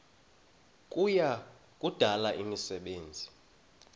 kuya kudala imisebenzi